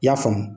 I y'a faamu